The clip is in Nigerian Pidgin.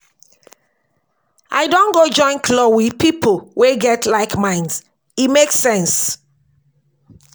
I don go join club with pipo wey get like-minds, e make sense.